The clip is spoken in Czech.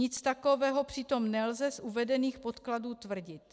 Nic takového přitom nelze z uvedených podkladů tvrdit.